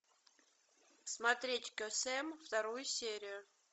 смотреть кесем вторую серию